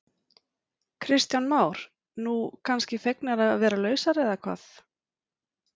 Kristján Már: Nú, kannski fegnar að vera lausar eða hvað?